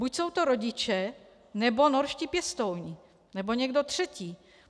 Buď jsou to rodiče, nebo norští pěstouni, nebo někdo třetí.